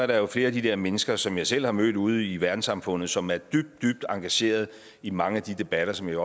der er flere af de der mennesker som jeg selv har mødt ude i verdenssamfundet som er dybt dybt engageret i mange af de debatter som jeg